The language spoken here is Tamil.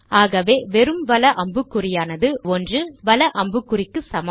ஆகவே வெறும் வல அம்புக்குறியானது 1 வல அம்புக்குறிக்கு சமம்